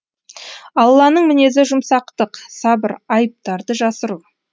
алланың мінезі жұмсақтық сабыр айыптарды жасыру